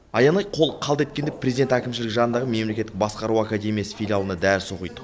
аянай қолы қалт еткенде президент әкімшілігі жанындағы мемлекеттік басқару академиясы филиалында дәріс оқиды